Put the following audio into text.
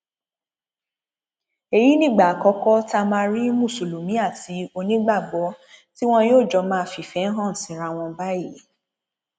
èyí nìgbà àkọkọ tá a máa rí mùsùlùmí àti onígbàgbọ tí wọn yóò jọ máa fìfẹ hàn síra wọn báyìí